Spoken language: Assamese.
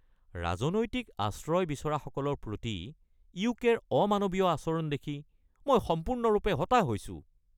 ৰাজনৈতিক আশ্ৰয় বিচৰাসকলৰ প্ৰতি ইউকে-ৰ অমানৱীয় আচৰণ দেখি মই সম্পূৰ্ণৰূপে হতাশ হৈছো।